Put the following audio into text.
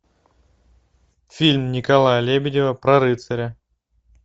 фильм николая лебедева про рыцаря